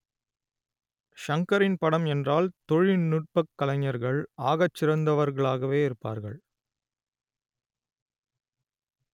ஷங்கரின் படம் என்றால் தொழில்நுட்பக் கலைஞர்கள் ஆகச்சிறந்தவர்களாகவே இருப்பார்கள்